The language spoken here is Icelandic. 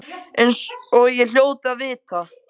Eins og ég hljóti að vita.